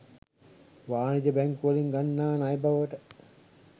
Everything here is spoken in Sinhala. වාණිජ බැංකුවලින් ගන්නා ණය බවට